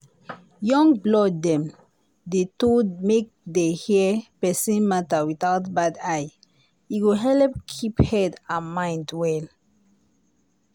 young blood dem dey told make dem hear persin matter without bad eye e go helep keep head and mind well.